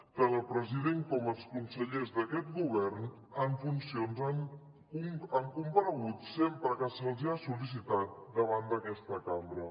tant el president com els consellers d’aquest govern en funcions han comparegut sempre que se’ls ha sol·licitat davant d’aquesta cambra